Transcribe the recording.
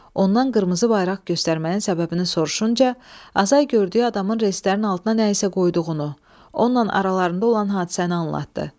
Ondan qırmızı bayraq göstərməyin səbəbini soruşunca Azay gördüyü adamın reyslərin altına nə isə qoyduğunu, onunla aralarında olan hadisəni anlatdı.